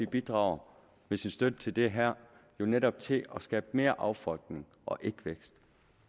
bidrager med sin støtte til det her jo netop til at skabe mere affolkning og ikke vækst